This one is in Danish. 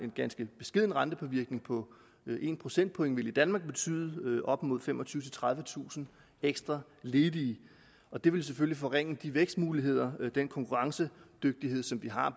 ganske beskeden rentepåvirkning på en procentpoint vil i danmark betyde op mod femogtyvetusind tredivetusind ekstra ledige og det vil selvfølgelig forringe de vækstmuligheder og den konkurrencedygtighed som vi har